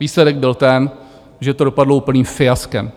Výsledek byl ten, že to dopadlo úplným fiaskem.